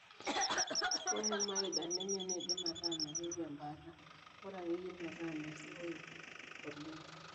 Ore Mild anemia neidim ataa meyieu embaata, bora akeyie metaa meruoyo oleng.